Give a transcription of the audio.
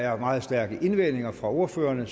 er meget stærke indvendinger fra ordførerne